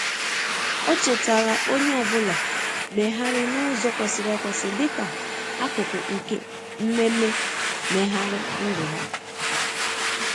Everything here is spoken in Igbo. o chetara onye ọbụla meghari n'ụzo kwesịrị ekwesị dika akụkụ nke mmeme meghari ndụ ha.